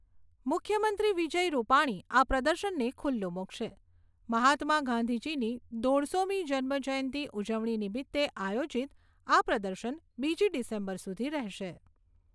મુખ્યમંત્રી વિજય રુપાણી આ પ્રદર્શનને ખુલ્લુ મુકશે. મહાત્મા ગાંધીજીની દોઢસોમી જન્મ જયંતી ઉજવણી નિમિત્તે આયોજીત આ પ્રદર્શન બીજી ડિસેમ્બર સુધી રહેશે.